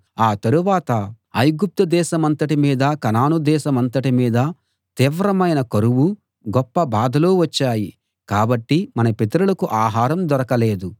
ఆ తరువాత ఐగుప్తు దేశమంతటి మీదా కనాను దేశమంతటి మీదా తీవ్రమైన కరువూ గొప్ప బాధలూ వచ్చాయి కాబట్టి మన పితరులకు ఆహారం దొరకలేదు